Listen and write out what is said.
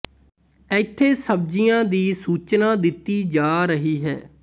ਇੱਥੇ ਸਬਜੀਆਂ ਦੀ ਸੂਚਨਾ ਦਿੱਤੀ ਜਾ ਰਹੀ ਹੈ